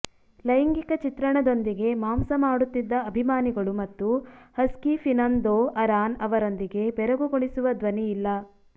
ಲೈಂಗಿಕ ಚಿತ್ರಣದೊಂದಿಗೆ ಮಾಂಸ ಮಾಡುತ್ತಿದ್ದ ಅಭಿಮಾನಿಗಳು ಮತ್ತು ಹಸ್ಕಿ ಫಿನಂದೊ ಅರಾನ್ ಅವರೊಂದಿಗೆ ಬೆರಗುಗೊಳಿಸುವ ಧ್ವನಿಯಿಲ್ಲ